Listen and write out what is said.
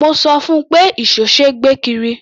Mo sọ fún un pé ìṣó ṣe é gbé kiri.